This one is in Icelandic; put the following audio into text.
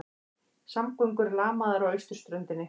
Samgöngur lamaðar á austurströndinni